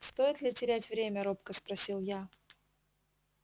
стоит ли терять время робко спросил я